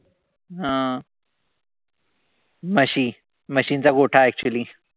हा म्हशी. म्हशींचा गोठा actually.